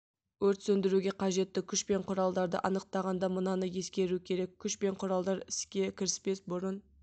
өрт сөндіруге қажетті күш пен құралдарды анықтағанда мынаны ескеру керек күш пен құралдар іске кіріспес бұрын